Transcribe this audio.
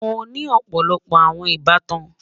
Mọ ní ọpọlọpọ awọn ìbàtàn.